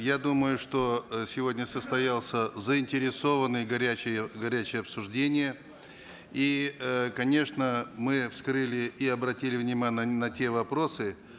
я думаю что э сегодня состоялся заинтересованный горячий горячее обсуждение и э конечно мы вскрыли и обратили на те вопросы